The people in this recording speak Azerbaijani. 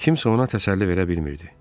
Kimsə ona təsəlli verə bilmirdi.